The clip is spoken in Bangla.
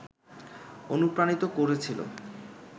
অনুপ্রাণিত করেছিল